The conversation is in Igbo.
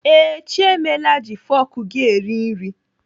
Ee, Chiemela ji fọk gị eri nri.